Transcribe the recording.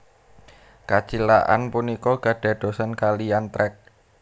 Kacilakan punika kadadosan kaliyan trek